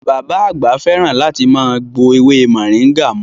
Bàbá àgbà fẹ́ràn láti máa gbo ewé moringa mu